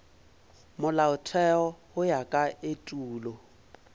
molaotheo go ya ka etulo